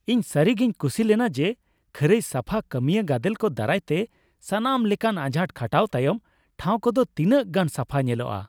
ᱤᱧ ᱥᱟᱹᱨᱤᱜᱤᱧ ᱠᱩᱥᱤ ᱞᱮᱱᱟ ᱡᱮ ᱠᱷᱟᱹᱨᱟᱹᱭ ᱥᱟᱯᱷᱟ ᱠᱟᱹᱢᱤᱭᱟᱹ ᱜᱟᱫᱮᱞ ᱠᱚ ᱫᱟᱨᱟᱭᱛᱮ ᱥᱟᱱᱟᱢ ᱞᱮᱠᱟᱱ ᱟᱡᱷᱟᱴ ᱠᱷᱟᱴᱟᱣ ᱛᱟᱭᱚᱢ ᱴᱷᱟᱣ ᱠᱚᱫᱚ ᱛᱤᱱᱟᱹᱜ ᱜᱟᱱ ᱥᱟᱯᱷᱟ ᱧᱮᱞᱚᱜᱼᱟ ᱾